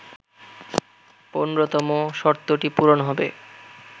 ১৫তম শর্তটি পূরণ হবে